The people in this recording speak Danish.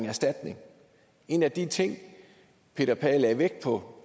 erstatning en af de ting peter pagh lagde vægt på